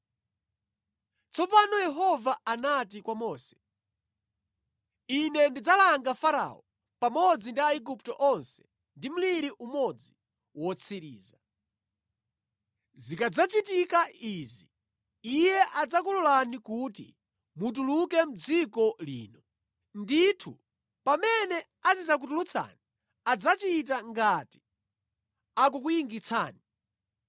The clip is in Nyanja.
Tsopano Yehova anati kwa Mose, “Ine ndidzalanga Farao pamodzi ndi Aigupto onse ndi mliri umodzi wotsiriza. Zikadzachitika izi iye adzakulolani kuti mutuluke mʼdziko lino. Ndithu pamene azidzakutulutsani adzachita ngati akukuyingitsani.